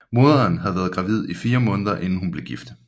Moderen havde været gravid i 4 måneder inden hun blev gift